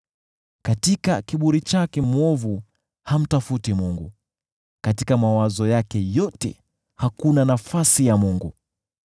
Katika kiburi chake, mwovu hamtafuti Mungu, katika mawazo yake yote hakuna nafasi ya Mungu.